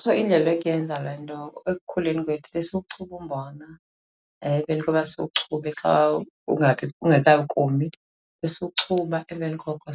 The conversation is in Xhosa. So indlela yokuyenza le nto, ekukhuleni kwethu besiwuchuba umbona. Emveni koba siwuchube xa ungekakomi, besiwuchuba emveni koko ,